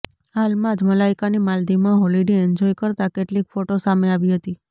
હાલમાંજ મલાઇકાની માલદીવમાં holiday enjoy કરતા કેટલીક ફોટો સામે આવી હતી